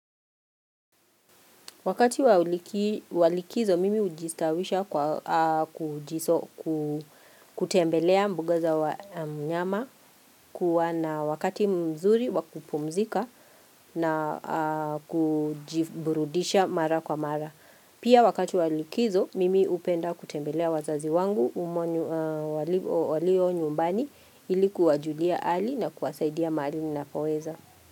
Wakati walikizo, mimi ujistawisha kwa kutembelea mbuga za wanyama kuwa na wakati mzuri wakupumzika na kujiburudisha mara kwa mara. Pia wakati walikizo, mimi upenda kutembelea wazazi wangu walio nyumbani ilikuwa julia ali na kuwasaidia maali na koweza.